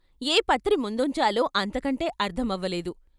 ఏ పత్రి ముందుంచాలో అంతకంటే అర్ధమవలేదు.